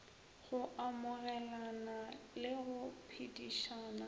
go amogelana le go phedišana